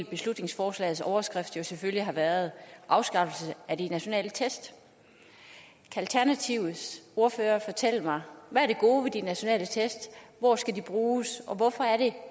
beslutningsforslagets overskrift jo selvfølgelig have været afskaffelse af de nationale test kan alternativets ordfører fortælle mig hvad det gode de nationale test hvor skal de bruges og hvorfor er det